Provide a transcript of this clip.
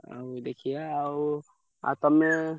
ଆଉ ଦେଖିଆ ଆଉ ଆଉ ତମେ।